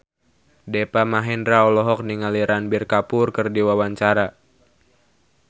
Deva Mahendra olohok ningali Ranbir Kapoor keur diwawancara